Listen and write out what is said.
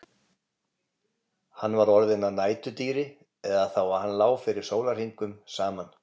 Hann var orðinn að næturdýri eða þá að hann lá fyrir sólarhringum saman.